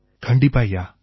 கண்டிப்பா ஐயா